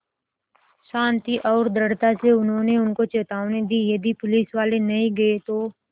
शान्ति और दृढ़ता से उन्होंने उनको चेतावनी दी यदि पुलिसवाले नहीं गए तो